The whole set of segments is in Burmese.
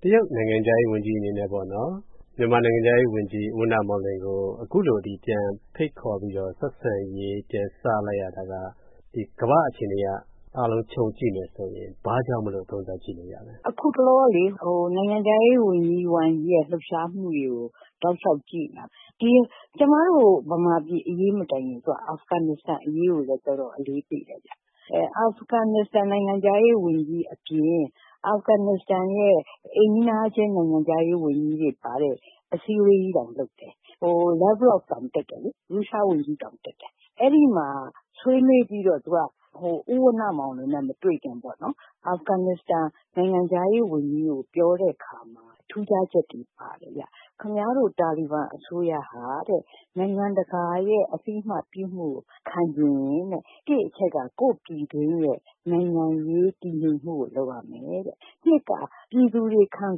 တရုတ်နိုင်ငံခြားရေးဝန်ကြီးအနေနဲ့ မြန်မာနိုင်ငံခြားရေးဝန်ကြီး ဦးဝဏ္ဏမောင်လွင်ကို အခုလို ဖိတ်ခေါ်ပြီး ဆက်ဆံရေး ပြန်စလိုက်တာက ကမ္ဘာ့အခြေအနေအရ အားလုံးခြုံကြည့်မယ်ဆိုရင် ဘာကြောင့်လို့ သုံးသပ်ကြည့်လို့ရလဲ။ ဒေါက်တာလှကျော်ဇော - “အခုတလော နိုင်ငံခြားရေးဝန်ကြီး Wang Yi ရဲ့ လှုပ်ရှားမှုတွေကို တောက်လျှောက်ကြည့်နေတာ ကျမတို့ ဗမာပြည်အရေး မတိုင်ခင် သူက အာဖဂန်နစ္စတန်အရေးကိုလည်း တော်တော်အလေးပေးလိုက်တယ်။ အာဖဂန်နစ္စတန် နိုင်ငံခြားရေးဝန်ကြီးအပြင် အာဖဂန်နစ္စတန်ရဲ့ အိမ်နီးနားချင်း နိုင်ငံခြားရေးဝန်ကြီးတွေ ပါတဲ့ အစည်းအဝေးကြီးတောင် လုပ်တယ်။ ရုရှားဝန်ကြီး Lavrov တောင်တက်တယ်။ အဲဒီမှာ ဆွေးနွေးပြီးတော့ ဦးဝဏ္ဏမောင်လွင်နဲ့ မတွေ့ခင်ပေါ့၊ အာဖဂန်နစ္စတန် နိုင်ငံခြားရေးဝန်ကြီးကို ပြောတဲ့အခါမှာ ထူးခြားချက်တွေ ပါတယ်။ ခင်ဗျားတို့ တာလီဘန်အစိုးရဟာ နိုင်ငံတကာရဲ့ အသိအမှတ်ပြုမှုကို ခံချင်ရင် တစ်အချက်က ကိုယ့်ပြည်တွင်းရဲ့ နိုင်ငံရေးတည်ငြိမ်မှုကို လုပ်ရမယ်တဲ့၊ နှစ်က ပြည်သူတွေ ခံ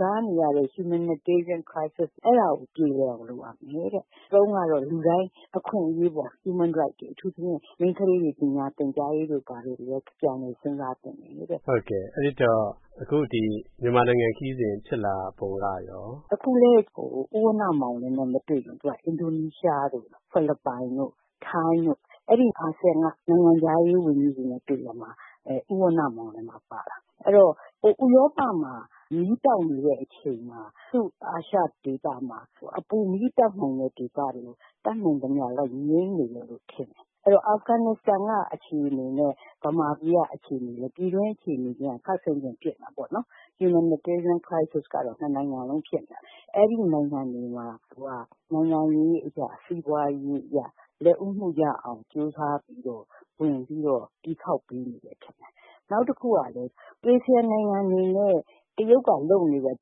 စားနေရတဲ့ Humanitarian Crisis အဲဒါကို ပြေလည်အောင် လုပ်ရမယ်တဲ့၊ သုံးကတော့ လူတိုင်း အခွင့်အရေးပေါ့ Human Rights တွေ၊ အထူးသဖြင့် မိန်းကလေးတွေ ပညာသင်ကြားရေးတို့ ဘာတို့ ပြန်လည်စဉ်းစားသင့်တယ်တဲ့။” ကိုဝင်းမင်း - အဲဒီတော့ အခု မြန်မာနိုင်ငံခရီးစဉ် ဖြစ်လာပုံကရော။ ဒေါက်တာလှကျော်ဇော - “အခုလည်း ဦးဝဏ္ဏမောင်လွင်နဲ့ မတွေ့ခင် သူက အင်ဒိုနီးရှားတို့ ဖိလစ်ပိုင်တို့ ထိုင်းတို့ အဲဒီ အာဆီယံ နိုင်ငံခြားရေးဝန်ကြီးတွေနဲ့ တွေ့ရာမှာ ဦးဝဏ္ဏမောင်လွင်ပါ ပါတာ။ ဥရောပမှာ မီးတောက်နေတဲ့ အချိန်မှာ အာရှဒေသမှာ အပူမီးတောက်နိုင်တဲ့ ဒေသတွေကို တတ်နိုင်သမျှ လိုက်ပြီး ငြှိမ်းနေမယ်လို့ ထင်တယ်။ အဲ့ဒီတော့ အာဖဂန်နစ္စတန်က အခြေအနေနဲ့ ဗမာပြည်က အခြေအနေ ပြည်တွင်းအခြေအနေချင်းက ခပ်ဆင်ဆင်ဖြစ်နေတာပေါ့။ Humanitarian Crisis ကတော့ နှစ်နိုင်ငံစလုံး ဖြစ်နေတာပဲ။ အဲဒီနိုင်ငံတွေမှာ သူက နိုင်ငံရေးအရ စီးပွားရေးအရ လက်ဦးမှုရအောင် ကြိုးစားပြီးတော့ ဝင်ပြီးတော့ တီးခေါက်ပေးနေတယ် ထင်တယ်။ နောက်တခုကလည်း အာဆီယံနိုင်ငံတွေနဲ့ တရုတ်ကလုပ်နေတဲ့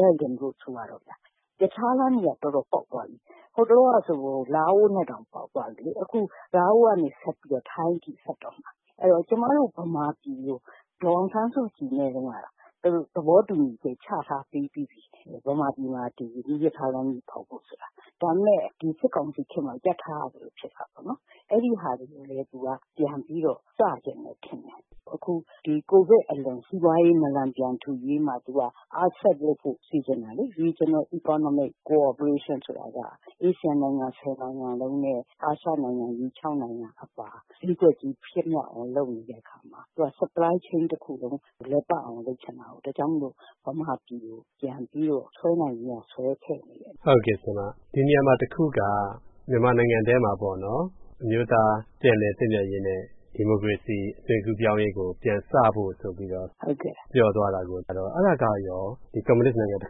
Belt and Road ဆိုပါတော့၊ ရထားလမ်းတွေက တော်တော်ပေါက်သွားပြီ။ ဟိုတလောကဆို လာအိုနဲ့တောင် ပေါက်သွားပြီ။ အခု လာအိုကနေ ထိုင်းအထိ ဆက်တော့မှာ။ အဲဒီတော့ ကျမတို့ ဗမာပြည်ကို ဒေါ်အောင်ဆန်းစုကြည်နဲ့တုန်းကတောင် သူတို့ သဘောတူညီချက် ချထားပြီးပြီထင်တယ်၊ ဗမာပြည်မှာ မီးရထားလမ်းကြီး ဖောက်ဖို့ဆိုတာ။ ဒါပေမယ့် စစ်ကောင်စီခေတ်မှာ ရပ်ထားရသလို ဖြစ်တာပေါ့။ အဲဒီဟာတွေကိုလည်း သူက ပြန်ပြီး စချင်တယ်ထင်တယ်။ အခု ကိုဗစ်အလွန် စီးပွားရေး နာလန်ပြန်ထူရေးမှာ သူက အားစိုက်လုပ်ဖို့ စီစဉ်တယ်။ Regional Economic Cooperation ဆိုတာက အာဆီယံနိုင်ငံ ၁၀ နိုင်စလုံးနဲ့ အာရှနိုင်ငံကြီး ၆ နိုင်ငံ အပါ အဖွဲ့အစည်း ဖြစ်မြောက်အောင် လုပ်နေတဲ့အခါမှာ သူက Supply Chain တခုလုံး လည်ပတ်အောင် လုပ်ချင်တာကိုး။ ဒါကြောင့်မို့ ဗမာပြည်ကို ပြန်ပြီးတော့ ဆွဲနိုင်သမျှ ဆွဲထည့်နေတယ်။” ကိုဝင်းမင်း - ဒီနေရာမှာ တခုက မြန်မာနိုင်ငံထဲမှာ အမျိုးသား ပြန်လည်သင့်မြတ်ရေးနဲ့ ဒီမိုကရေစီ အသွင်ကူးပြောင်းရေးကို ပြန်စဖို့ဆိုပြီးတော့ ပြောသွားတာက အဲဒါကရော၊ ဒီ ကွန်မြူနစ်နိုင်ငံတ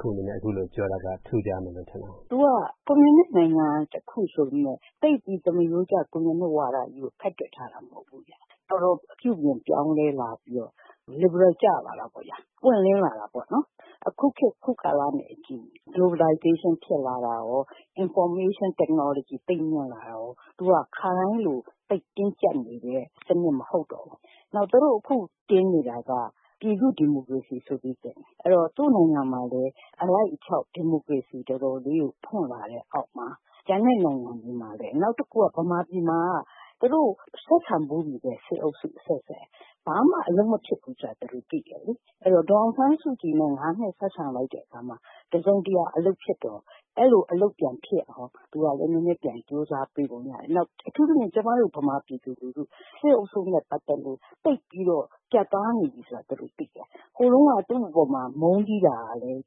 ခုအနေနဲ့ အခုလိုပြောတာက ထူးခြားနေတယ်ထင်တယ်။ ဒေါက်တာလှကျော်ဇော - “သူက ကွန်မြူနစ်နိုင်ငံတခု ဆိုပေမယ့် သိပ်ပြီး သမားရိုးကျ ကွန်မြူနစ်ဝါဒကြီးကို ဖက်တွယ်ထားတာ မဟုတ်ဘူး။ ပြုပြင်ပြောင်းလဲလာပြီးတော့ လစ်ဘရယ် ကျလာတာပေါ့၊ ပွင့်လင်းလာတာပေါ့။ အခုခေတ် အခုကာလနဲ့အညီ Globalization ဖြစ်လာတာရော၊ Information Technology သိပ်မြင့်လာတာရော၊ သူက ခါတိုင်းလို သိပ်တင်းကျပ်နေတဲ့စနစ် မဟုတ်တော့ဘူး။ နောက် သူတို့ အခု တင်နေတာက ပြည်သူ့ဒီမိုကရေစီဆိုပြီး တင်တယ်။ အဲ့တော့ သူ့နိုင်ငံမှာလည်း အလိုက်အထိုက် ဒီမိုကရေစီ တော်တော်လေး ဖွံ့လာတဲ့အောက်မှာ ကျန်တဲ့နိုင်ငံတွေမှာလည်း၊ နောက်တခုက ဗမာပြည်မှာက သူတို့ ဆက်ဆံဖူးနေတဲ့ စစ်အုပ်စုအဆက်ဆက် ဘာမှအလုပ်မဖြစ်ဘူးဆိုတာ သူတို့သိတယ်။ အဲဒီတော့ ဒေါ်အောင်ဆန်းစုကြည်နဲ့ ၅ နှစ် ဆက်ဆံလိုက်တဲ့အခါမှာ တစုံတရာ အလုပ်ဖြစ်တော့ အဲဒီလို အလုပ်ပြန်ဖြစ်အောင် သူကလည်း နည်းနည်း ပြန်ကြိုးစားပေးပုံရတယ်။ နောက် အထူးသဖြင့် ကျမတို့ ဗမာပြည်သူလူထု၊ စစ်အုပ်စုနဲ့ ပတ်သက်လို့ သိပ်ပြီးတော့ ပြတ်သားနေပြီဆိုတာ သူတို့သိတယ်။ ဟိုတုန်းက သူ့အပေါ်မှာ မုန်းတီးတာကလည်း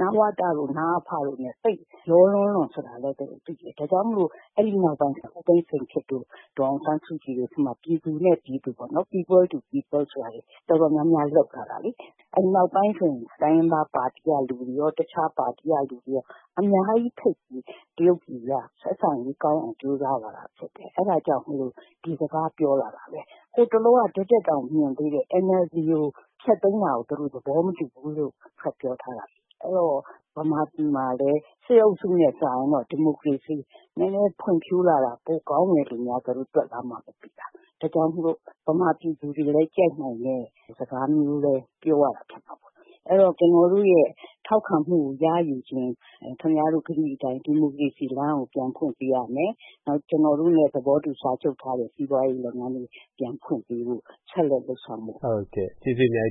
နဝတ၊ နအဖတို့နဲ့ သိပ်ရောလွန်းလို့ ဆိုတာလည်း သူတို့သိတယ်။ ဒါကြောင့်မို့ အဲဒီနောက်ပိုင်း ဦးသိန်းစိန်ခေတ်တို့၊ ဒေါ်အောင်ဆန်းစုကြည်တို့ခေတ်မှာ ပြည်သူနဲ့ပြည်သူပေါ့၊ People to People ဆိုတာတွေ တော်တော်များများ လုပ်လာတာလေ။ နောက်ပိုင်းဆိုရင် တိုင်းရင်းသားပါတီက လူတွေရော တခြားပါတီက လူတွေရော အများကြီးဖိတ်ပြီး တရုတ်ပြည်က ဆက်ဆံရေးကောင်းအောင် ကြိုးစားလာတာဖြစ်တယ်။ အဲဒါကြောင့်မို့ ဒီစကား ပြောလာတာပေါ့။ ဟိုတလောက ဒီ့ထက်တောင် မြင်သေးတယ်၊ NLD ကို ဖျက်သိမ်းတာကို သူတို့ သဘောမတူဘူးလို့ ထုတ်ပြောထားတာ။ အဲဒီတော့ ဗမာပြည်မှာလည်း စစ်အုပ်စုနဲ့စာရင်တော့ ဒီမိုကရေစီ နည်းနည်းဖွံ့ဖြိုးလာတာ ပိုကောင်းတယ်လို့များ သူတို့ တွက်လားမှမသိတာ။ ဒါကြောင့်မို့ ဗမာပြည်သူတွေလည်း ကြိုက်နိုင်မယ့် စကားမျိုးပဲ ပြောရတာ ဖြစ်မှာပေါ့။ အဲဒီတော့ ကျနော်တို့ရဲ့ ထောက်ခံမှုကို ရယူချင်ရင် ခင်ဗျားတို့ ကတိအတိုင်း ဒီမိုကရေစီလမ်းကို ပြန်ဖွင့်ပေးရမယ်၊ နောက် ကျနော်တို့နဲ့ သဘောတူ စာချုပ်ထားတဲ့ စီးပွားရေးလုပ်ငန်းတွေ ပြန်ဖွင့်ပေးဖို့၊ ဆက်လက်လုပ်ဆောင်ဖို့။” ကိုဝင်းမင်း - ဟုတ်ကဲ့၊ ကျေးဇူးအများက